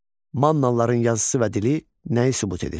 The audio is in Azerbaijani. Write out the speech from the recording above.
Mannalıların yazısı və dili nəyi sübut edir?